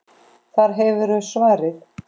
Þar hefurðu svarið.